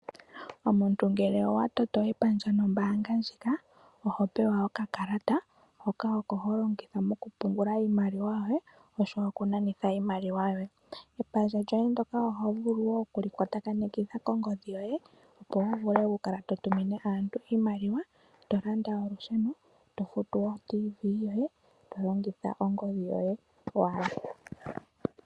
Omuntu ngele owa toto epandja nombaanga ndjika oho pewa okakalata hoka oko ho longitha mokupungula iimaliwa yoye oshowo okunanitha iimaliwa yoye. Epandja lyoye ndoka oho vulu wo oku li kwatakanitha kongodhi yoye, opo wu vule okukala to tumine aantu iimaliwa, to landa olusheno, to futu otiivi yoye to longitha ongodhi yoye owala.